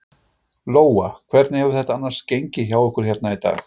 Lóa: Hvernig hefur þetta annars gengið hjá ykkur hérna í dag?